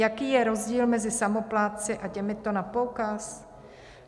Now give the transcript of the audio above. Jaký je rozdíl mezi samoplátci a těmito na poukaz?